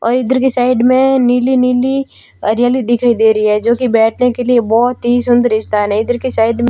और इधर के साइड में नीली नीली हरियाली दिखाई दे री है जो की बैठने के लिए बहोत ही सुंदर स्थान है इधर के साइड --